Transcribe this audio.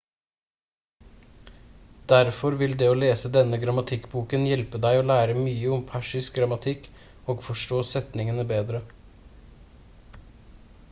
derfor vil det å lese denne grammatikkboken hjelpe deg å lære mye om persisk grammatikk og forstå setningene bedre